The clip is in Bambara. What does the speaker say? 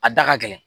A da ka gɛlɛn